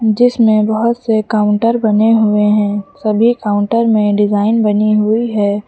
जिसमें बहोत से काउंटर बने हुए हैं सभी काउंटर में डिजाइन बनी हुई है।